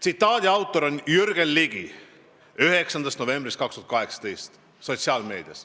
" Tsitaadi autor on Jürgen Ligi, see on avaldatud 9. novembril 2018 sotsiaalmeedias.